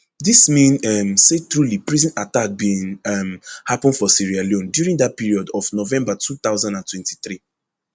dis mean um say truly prison attack bin um happun for sierra leone during dat period of november two thousand and twenty-three